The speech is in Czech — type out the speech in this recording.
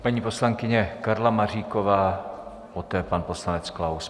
Paní poslankyně Karla Maříková, poté pan poslanec Klaus.